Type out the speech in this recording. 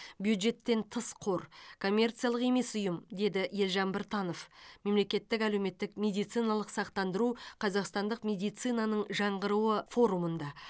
бюджеттен тыс қор коммерциялық емес ұйым деді елжан біртанов мемлекеттік әлеуметтік медициналық сақтандыру қазақстандық медицинаның жаңғыруы форумында